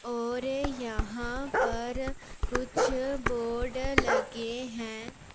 और यहां पर कुछ बोर्ड लगे हैं।